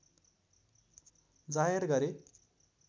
जाहेर गरे